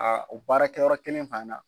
Aa o baara kɛ yɔrɔ kelen fɛnɛ na.